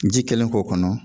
Ji kɛlen k'o kɔnɔ